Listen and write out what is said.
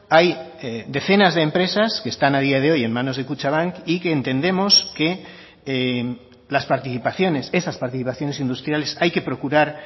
hay decenas de empresas que están a día de hoy en manos de kutxabank y que entendemos que las participaciones esas participaciones industriales hay que procurar